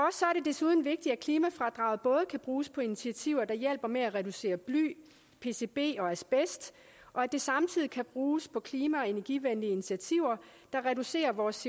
desuden vigtigt at klimafradraget både kan bruges på initiativer der hjælper med at reducere bly pcb og asbest og at det samtidig kan bruges på klima og energivenlige initiativer der reducerer vores